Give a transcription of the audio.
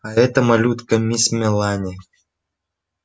а эта малютка мисс мелани